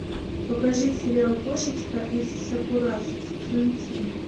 покажи сериал кошечка из сакурасо сезон семь